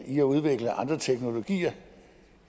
i at udvikle andre teknologier